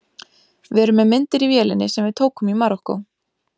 Við erum með myndir í vélinni sem við tókum í Marokkó.